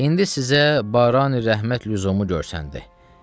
İndi sizə Barani Rəhmət lüzumu görsəndi.